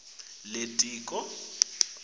litiko